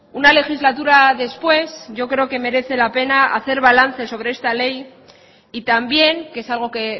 una legislatura después yo creo que merece la pena hacer balance sobre esta ley y también que es algo que